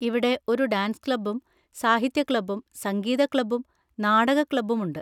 ഇവിടെ ഒരു ഡാൻസ് ക്ലബ്ബും സാഹിത്യ ക്ലബ്ബും സംഗീത ക്ലബ്ബും നാടക ക്ലബ്ബും ഉണ്ട്.